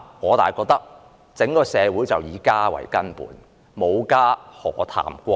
但是，我覺得整個社會是以家為根本，沒有家，何談國？